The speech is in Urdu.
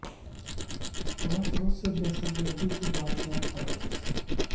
پانچ روز سے دہشت گردی کے واقعات تواتر سے